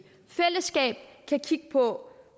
fællesskab kan kigge på